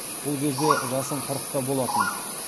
бұл кезде жасым қырықта болатын